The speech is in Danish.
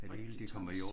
Rigtig træls